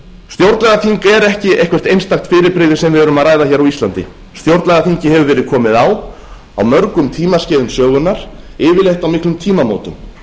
stjórnlagaþing er ekki eitthvert einstakt fyrirbrigði sem við erum að ræða hér á íslandi stjórnlagaþingi hefur verið komið á á mörgum tímaskeiðum sögunnar yfirleitt á miklum tímamótum